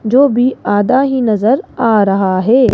जो भी आदा ही नजर आ रहा है।